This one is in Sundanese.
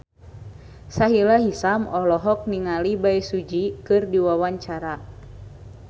Sahila Hisyam olohok ningali Bae Su Ji keur diwawancara